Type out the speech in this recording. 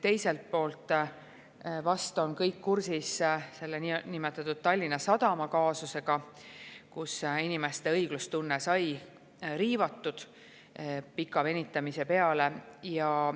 Teiselt poolt vast on kõik kursis niinimetatud Tallinna Sadama kaasusega, mille puhul inimeste õiglustunne sai selle pika venitamise tõttu riivatud.